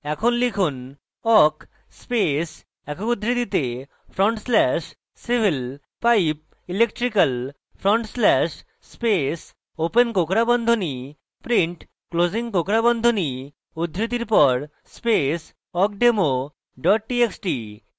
এখন লিখুন awk space একক উদ্ধৃতিতে front slash civil পাইপ electrical front slash space open কোঁকড়া বন্ধনী print closing কোঁকড়া বন্ধনী উদ্ধৃতির পর space awkdemo txt txt